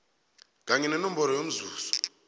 kanye nenomboro yomzuzi